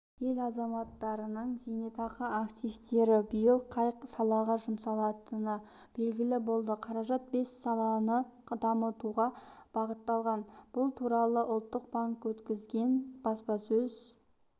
ел азаматтарының зейнетақы активтері биыл қай салаға жұмсалатыны белгілі болды қаражат бес саланы дамытуға бағытталған бұл туралы ұлттық банк өткізген баспасөз